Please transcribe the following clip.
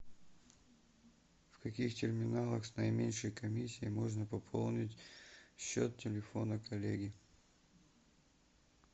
в каких терминалах с наименьшей комиссией можно пополнить счет телефона коллеги